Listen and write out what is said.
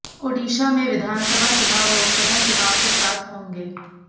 ओडिशा में विधानसभा चुनाव लोकसभा चुनाव के साथ होंगे